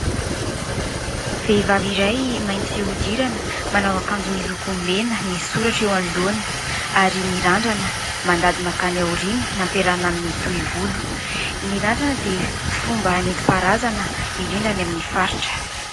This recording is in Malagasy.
Vehivavy iray mainty fihodirana manao akanjo miloko mena, misy soratra eo anoloana ary mirandrana mandady mankany aoriana nampiarahana amin'ny tohi-volo. Ny randrana dia fomba nentim-paharazana indrindra ny amin'ny faritra.